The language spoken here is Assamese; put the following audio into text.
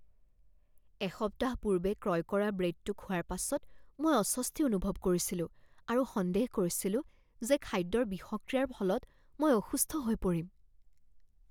এসপ্তাহ পূৰ্বে ক্ৰয় কৰা ব্ৰেডটো খোৱাৰ পাছত মই অস্বস্তি অনুভৱ কৰিছিলোঁ আৰু সন্দেহ কৰিছিলোঁ যে খাদ্যৰ বিষক্ৰিয়াৰ ফলত মই অসুস্থ হৈ পৰিম।